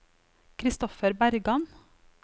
Christoffer Bergan